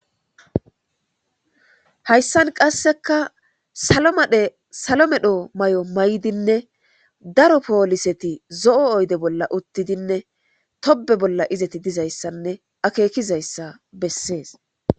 hayssan qasseka salomadhe salomedho may7o may7dinne daro pooliseti zo7o oyde bolla uttidinne tobe bolla izati dizayssanne akekizayssa bessees